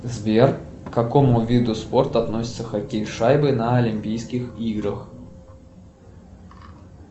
сбер к какому виду спорта относится хоккей с шайбой на олимпийских играх